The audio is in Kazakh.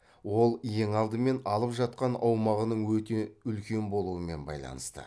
ол ең алдымен алып жатқан аумағының өте үлкен болуымен байланысты